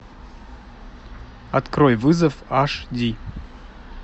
открой вызов аш ди